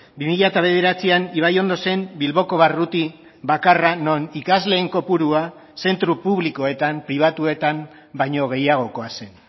bi mila bederatzian ibaiondo zen bilboko barruti bakarra non ikasleen kopurua zentro publikoetan pribatuetan baino gehiagokoa zen